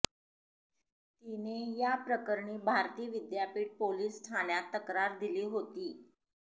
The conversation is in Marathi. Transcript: तिने या प्रकरणी भारती विद्यापीठ पोलीस ठाण्यात तक्रार दिली होती